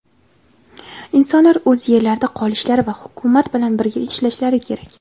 Insonlar o‘z yerlarida qolishlari va Hukumat bilan birga ishlashlari kerak.